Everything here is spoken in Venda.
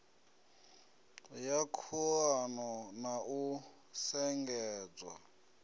ya khuḓano na u shengedzwa